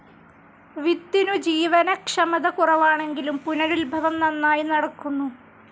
വിത്തിനു ജീവനക്ഷമത കുറവാണെങ്കിലും പുനരുത്ഭവം നന്നായി നടക്കുന്നു.